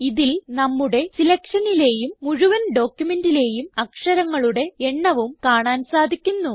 ഇതിൽ നമ്മുടെ സിലക്ഷനിലേയും മുഴുവൻ ഡോക്യുമെന്റിലേയും അക്ഷരങ്ങളുടെ എണ്ണവും കാണാൻ സാധിക്കുന്നു